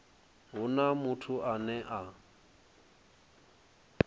hu na muthu ane a